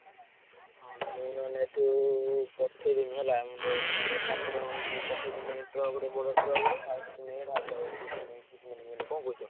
ହଁ ମୁଁ ନହେଲେ ଏଠୁ ପଠେଇ ଦେମି ହେଲା ଏକାଥରେ ମୁଁ ପଠେଇ ଦେମି truck ରେ ବଡ truck ରେ ଆଉ ସେଠୁ ନେଇ ଢାଲିଡବ କଣ କହୁଛ?